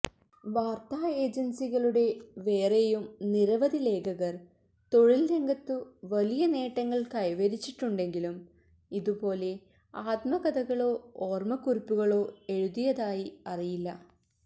വാര്ത്താ ഏജന്സികളുടെ വേറെയും നിരവധി ലേഖകര് തൊഴില്രംഗത്തു വലിയ നേട്ടങ്ങള് കൈവരിച്ചിട്ടുണ്ടെങ്കിലും ഇതുപോലെ ആത്മകഥകളോ ഓര്മക്കുറിപ്പുകളോ എഴുതിയതായി അറിയില്ല